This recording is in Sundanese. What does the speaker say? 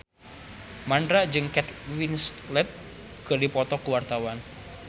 Mandra jeung Kate Winslet keur dipoto ku wartawan